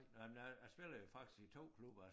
Nej men nej jeg spiller jo faktisk i 2 klubber